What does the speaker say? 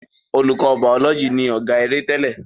Olùkọ bàólọ́jì ni ọ̀gá-eré tẹ́lẹ̀.